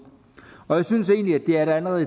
og jeg synes egentlig at der allerede